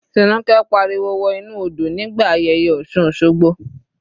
Tinuke pariwo wọ inú odò nígbà ayẹyẹ osun osogbo.